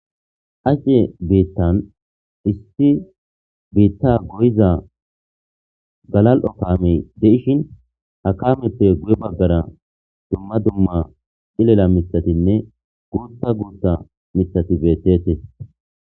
Acce bittan issi bitta goyiza gallal''o kammey de'ishshin ha kammneppe guye baggara duma duma cillila miththattinne guththa guththa miththatti bettetes.